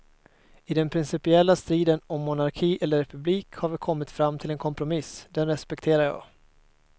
I den principiella striden om monarki eller republik har vi kommit fram till en kompromiss, den respekterar jag.